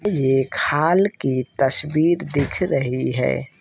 ये एक हॉल की तस्वीर दिख रही है।